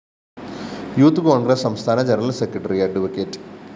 youth Congress സംസ്ഥാന general secretary അഡ്വ